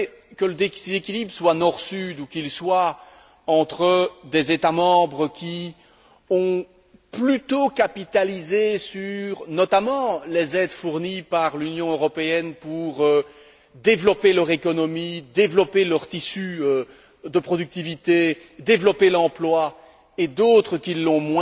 Que le déséquilibre soit Nord Sud ou qu'il soit entre des États membres qui ont plutôt capitalisé sur, notamment, les aides fournies par l'Union européenne pour développer leur économie, développer leur tissu de productivité, développer l'emploi et d'autres qui l'ont